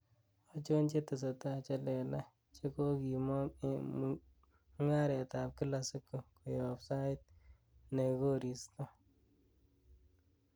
achon chetesetai chelelach chegogimong' en mung'aret ab kila siku koyop sait negosirtoo